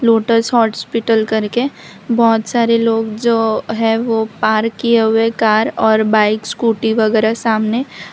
lotus Hospital करके बहोत सारे लोग जो है वो पार्क किए हुए कार और बाइक स्कूटी वगैरा सामने --